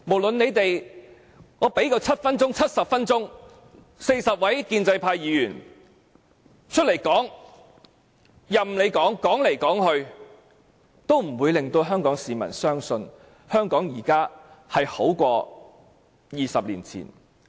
即使40位建制派有7分鐘，甚至70分鐘發言時間，但無論他們怎麼說，也不會令香港市民相信，現時的香港比20年前更好。